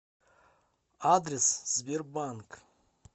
адрес сбербанк